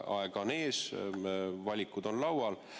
Aega on ees, valikud on laual.